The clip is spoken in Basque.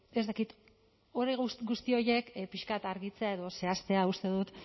ez dakit guzti horiek pixka bat argitzea edo zehaztea uste dut